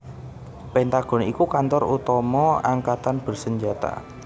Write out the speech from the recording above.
Pentagon iku kantor utama angkatan bersenjata